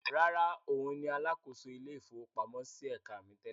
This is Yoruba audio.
Rárá, òun ni alákòóso ilé-ìfowópamọ́sí ẹ̀ka mi tẹ́lẹ̀.